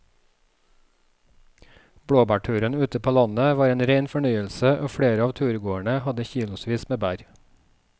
Blåbærturen ute på landet var en rein fornøyelse og flere av turgåerene hadde kilosvis med bær.